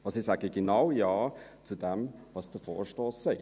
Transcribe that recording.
Ich sage genau Ja zu dem, was der Vorstoss sagt.